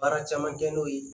Baara caman kɛ n'o ye